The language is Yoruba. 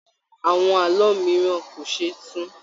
Àwọn àlọ mìíràn kò ṣeé tu.